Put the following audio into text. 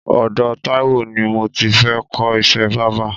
Ọdọ Taiwo ni mó ti fệ kọ iṣè bàbà